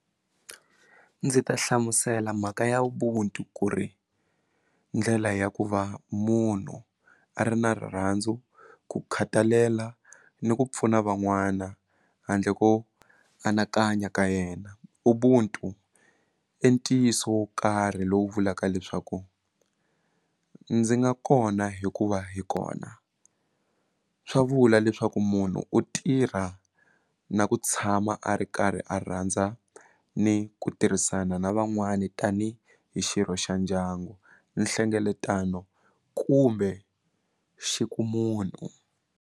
Ndzi ta hlamusela mhaka ya ubuntu ku ri ndlela ya ku va munhu a ri na rirhandzu ku khathalela ni ku pfuna van'wana handle ko anakanya ka yena ubuntu i ntiyiso wo karhi lowu vulaka leswaku ndzi nga kona hikuva hi kona swa vula leswaku munhu u tirha na ku tshama a ri karhi a rhandza ni ku tirhisana na van'wani tani hi xirho xa ndyangu nhlengeletano kumbe xi ku munhu.